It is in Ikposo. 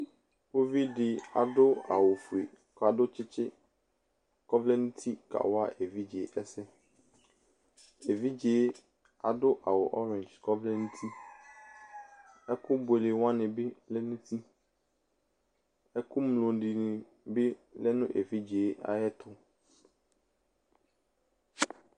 Uvi de ado awufue ka kɔntstse kɔ vlɛ nuti kawa evidze ɛsɛEvidze ado awu ɔring kɔ vlɛ nuiƐku buele wane be lɛ nutiƐku mlo de ne be lɛ no evidze ayeto